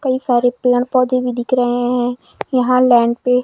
कई सारे पेड़ पौधे भी दिख रहे हैं यहां लैंड पे--